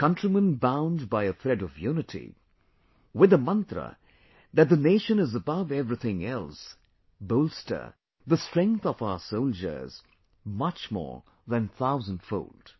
Countrymen bound by a thread of unity, with the Mantra that the Nation is above everything else bolster the strength of our soldiers much more than thousand fold